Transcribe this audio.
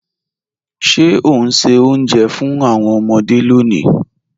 Ṣẹ o n ṣẹ́ ọ̀unjẹ́ fún awọn ọmọde lónì?